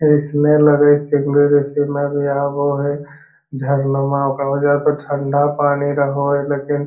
इसमें लगे है में यह वो है झरनमा ओकरा बा जाय क ठंडा पानी रहो है लकिन --